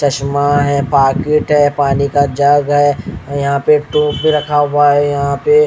चश्मा है पाकिट है पानी का जग है और यहां पे टोपी रखा हुआ है यहां पे।